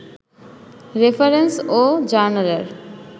reference ও জার্নালের